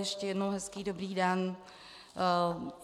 Ještě jednou hezký dobrý den.